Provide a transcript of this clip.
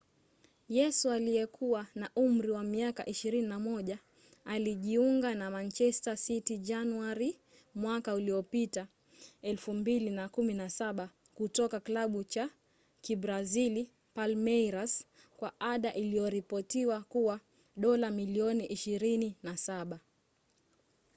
yesu aliyekuwa na umri wa miaka 21 alijiunga na manchester city januari mwaka uliopita 2017 kutoka klabu cha kibrazili palmeiras kwa ada iliyoripotiwa kuwa dola milioni 27